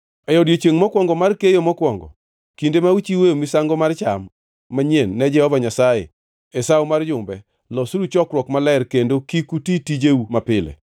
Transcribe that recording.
“ ‘E odiechiengʼ mokwongo mar keyo mokwongo, kinde ma uchiwoe misango mar cham manyien ne Jehova Nyasaye e Sawo mar Jumbe, losuru chokruok maler kendo kik uti tijeu mapile.